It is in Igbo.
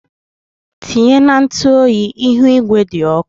Tinye na ntụ oyi, ihu igwe dị ọkụ.